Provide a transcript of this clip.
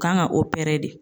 Kan ga opere de